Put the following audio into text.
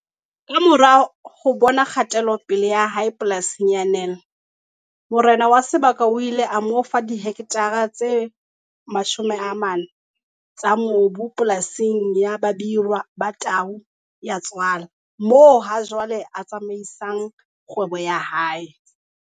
Kamora ho bona kgatelopele ya hae polasing ya Nel morena wa sebaka o ile a mo fa dihektare tse 40 tsa mobu polasing ya Babirwa Ba Tau Ya Tswala moo hajwale a tsamaisang kgwebo ya hae.